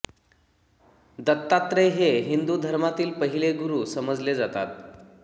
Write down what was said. दत्तात्रेय हे हिंदू धर्मातील पहिले गुरू समजले जातात